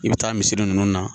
I bɛ taa misiri ninnu na